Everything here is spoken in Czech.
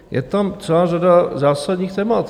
Je tam celá řada zásadních témat.